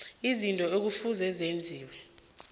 izinto ekufuze zenziwe